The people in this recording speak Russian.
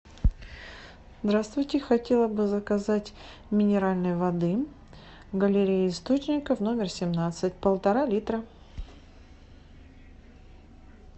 здравствуйте хотела бы заказать минеральной воды галерея источников номер семнадцать полтора литра